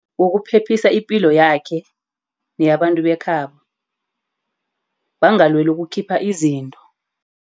Ngokuphephisa ipilo yakhe neyabantu bekhabo bangalweli ukukhipha izinto.